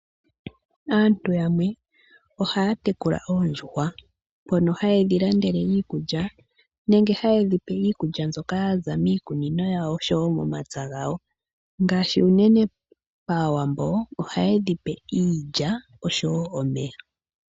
Aantu yamwe ohaya tekula oondjuhwa mpono haye dhi landele iikulya nenge haye dhi pe iikulya mbyoka ya za miikunino yawo oshowo mo mapya gawo ngashi unene pAawambo ohaye dhipe iilya oshowo omeya.